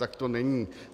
Tak to není.